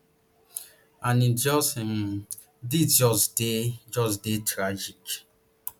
and its just um dis just dey just dey tragic